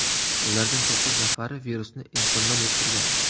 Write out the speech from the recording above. Ulardan to‘qqiz nafari virusni insondan yuqtirgan.